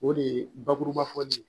O de ye bakuruba fɔli ye